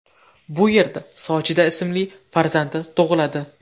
Bu yerda Sojida ismli farzandi tug‘iladi.